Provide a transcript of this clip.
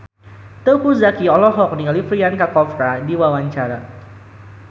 Teuku Zacky olohok ningali Priyanka Chopra keur diwawancara